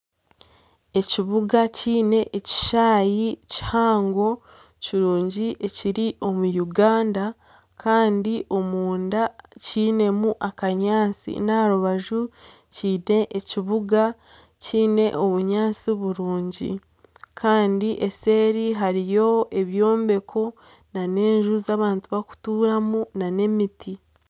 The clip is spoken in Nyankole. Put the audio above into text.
Ekibuga kiine ekishaayi kihango kirungi ekiri omu Uganda kandi omunda kiinemu akanyaatsi n'aha rubaju kiine ekibuga kiine obunyaatsi burungi kandi eseeri hariyo ebyombeko n'ez'abantu bakutuuramu nana emiti.